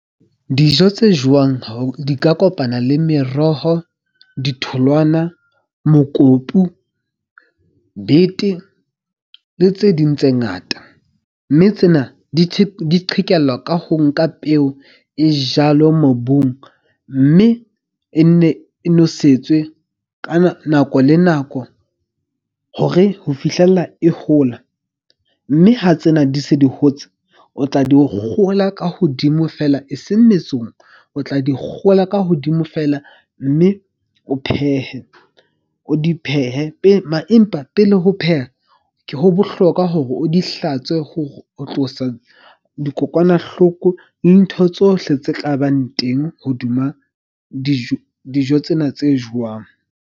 Dijo tse jewang di ka kopana le meroho, ditholwana, mokopu, bete le tse ding tse ngata. Mme tsena di qhekellwa ka ho nka peo e jalo mobung. Mme e ne nosetswe ka nako le nako hore ho fihlella e hola. Mme ha tsena di se di hotse. O tla di o kgola ka hodimo feela e seng metsong o tla di kgola ka hodimo feela. Mme o phehe, o di phehe pele Empa pele ho pheha ke ho bohlokwa hore o di hlatswe, ho tlosa dikokwanahloko di ntho tsohle tse kabang teng hodima dijo. Dijo tsena tse jowang.